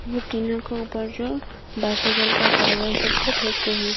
ये टीना के ऊपर जो बाइसाइकिल का टायर सबको फेंक के हैं।